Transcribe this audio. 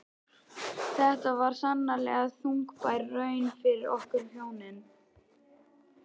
Þetta var sannarlega þungbær raun fyrir okkur hjónin.